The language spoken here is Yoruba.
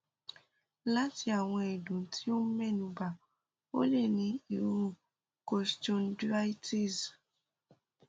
lati awọn ẹdun ti o mẹnuba o le ni iru costochondritis